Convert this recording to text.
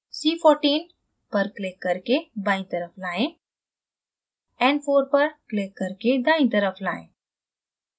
cl4 पर click करके बायीं तरफ लाएं n4 पर click करके दायीं तरफ लाएं